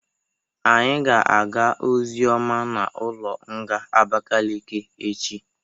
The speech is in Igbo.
Anyị ga-aga ozioma n'ụlọ nga Abakekeke echi.